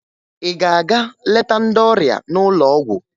Ị ga-aga leta ndị ọrịa n'ụlọ ọgwụ?